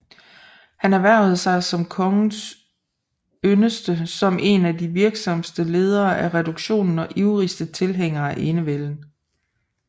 Han erhvervede sig kongens yndest som en af de virksomste ledere af reduktionen og ivrigste tilhængere af enevælden